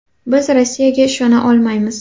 Biz Rossiyaga ishona olmaymiz.